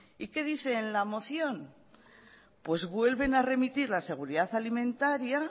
y qué dice en la moción pues vuelven a remitir la seguridad alimentaria